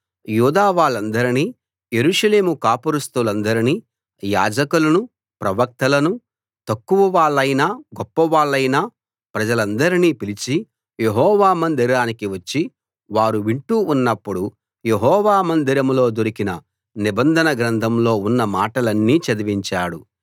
యూదా వాళ్ళందర్నీ యెరూషలేము కాపురస్థులందర్నీ యాజకులను ప్రవక్తలను తక్కువ వాళ్లైనా గొప్ప వాళ్లైనా ప్రజలందర్నీ పిలిచి యెహోవా మందిరానికి వచ్చి వారు వింటూ ఉన్నప్పుడు యెహోవా మందిరంలో దొరకిన నిబంధన గ్రంథంలో ఉన్న మాటలన్నీ చదివించాడు